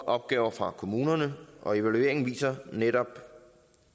opgaver fra kommunerne og evalueringen viser netop